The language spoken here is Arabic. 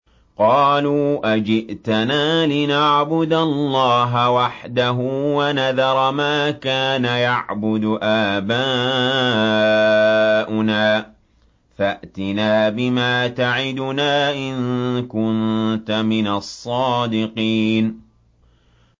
قَالُوا أَجِئْتَنَا لِنَعْبُدَ اللَّهَ وَحْدَهُ وَنَذَرَ مَا كَانَ يَعْبُدُ آبَاؤُنَا ۖ فَأْتِنَا بِمَا تَعِدُنَا إِن كُنتَ مِنَ الصَّادِقِينَ